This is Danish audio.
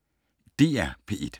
DR P1